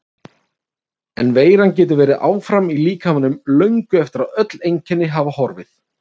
En veiran getur verið áfram í líkamanum löngu eftir að öll einkenni hafa horfið.